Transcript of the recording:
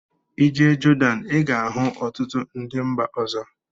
I jee Jordan I ga-ahụ ọtụtụ ndị mba ọzọ.